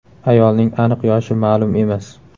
Ayolning aniq yoshi ma’lum emas.